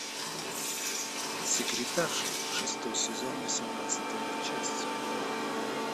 секретарша шестой сезон восемнадцатая часть